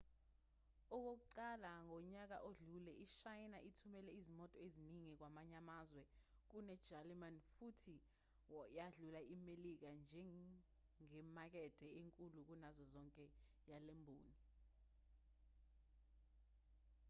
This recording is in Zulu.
okokuqala ngonyaka odlule ishayina ithumele izimoto eziningi kwamanye amazwe kunejalimane futhi yadlula imelika njengemakethe enkulu kunazo zonke yalemboni